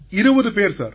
20 பேர்கள் சார்